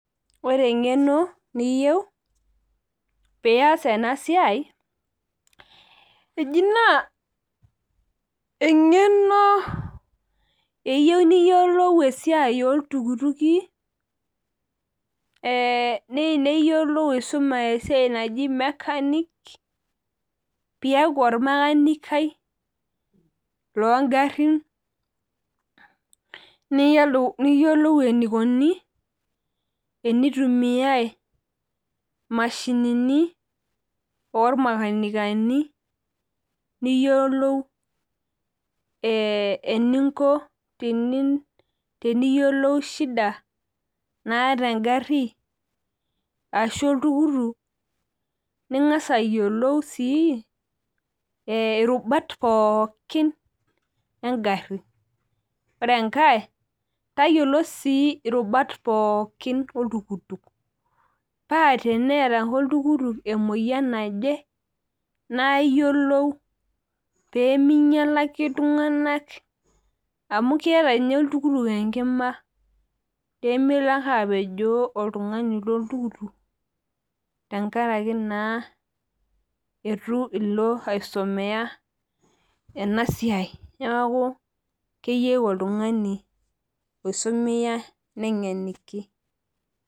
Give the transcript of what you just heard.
ore eng'eno niyieu pee iyas ena siai naa eji naa eng'eno eyieu niyiolou esiai oo iltukituki, neyieu niyiolou aisuma esiai naji mechanics ,pee iyaku olmakanikai loo igarin niyiolou enikoni tenitumiyai imashinini, oo imakanikani, niyiolou eninko teniyiolou shida naata egari ashu oltukutuk ning'as ayiolou sii irubat pooki egari, ore enkae tayiolo sii irubat pooki oltukutuk, paa teneeta ake oltukutuk emoyiana naje naa iyiolou pee ming'ialaki iltung'anak amu keeta ninye oltukutuk enkima pee melo ake apejoo oltung'ani lo ntukutuk neeku keyieu oltung'ani oisomeya enasiai.